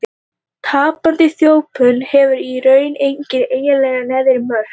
Tapandi þjöppun hefur í raun engin eiginleg neðri mörk.